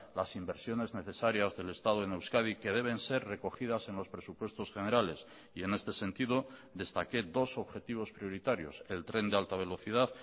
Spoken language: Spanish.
las inversiones necesarias del estado en euskadi que deben ser recogidas en los presupuestos generales y en este sentido destaqué dos objetivos prioritarios el tren de alta velocidad